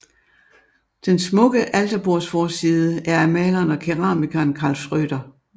Den smukke alterbordsforside er af maleren og keramikeren Karl Schrøder